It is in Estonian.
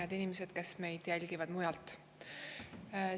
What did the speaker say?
Head inimesed, kes te jälgite meid mujalt!